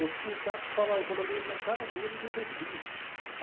O sindicato estava enrolando eles na cara dura e eles não percebiam.